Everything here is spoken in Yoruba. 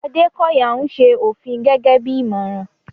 Adekoya ń ṣe òfin gẹ́gẹ́ bí ìmọ̀ràn.